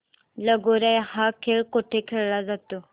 लगोर्या हा खेळ कुठे खेळला जातो